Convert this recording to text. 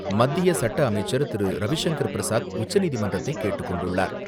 மத்திய சட்ட அமைச்சர் திரு.ரவிசங்கர் பிரசாத் உச்சநீதிமன்றத்தைக் கேட்டுக் கொண்டுள்ளார்.